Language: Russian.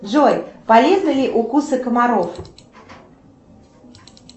джой полезны ли укусы комаров